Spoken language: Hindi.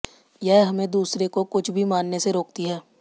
यह हमें दूसरे को कुछ भी मानने से रोकती है